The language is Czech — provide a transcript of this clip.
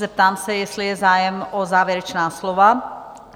Zeptám se, jestli je zájem o závěrečná slova?